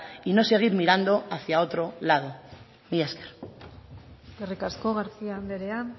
y no seguir mirando hacia otro lado mila esker eskerrik asko garcía andrea